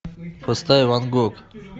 поставь ван гог